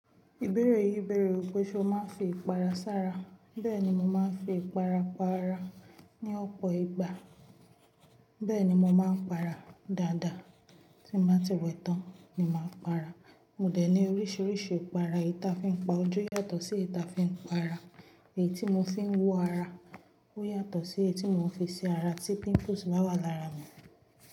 Ìbéèrè yìí béèrè pé ṣe o máa ń fi ìpara sára? Bẹ́ẹ̀ni mo máa ń fi ìpara para ní ọ̀pọ̀ ìgbà, bẹ́ẹ̀ ni mo máa ń para dáadáa tí n ba ti wẹ tán, mo màá ń para. Mo dẹ̀ ní oríṣiríṣi ìpara, èyí ta fi ń pa ojú yàtọ̀ sí èyí ta fi ń para, èyí tí mo fi ń wọ̀ ara ó yàtọ̀ sí èyí tí mo fi ṣi ara tí pimples bá wà lára mi.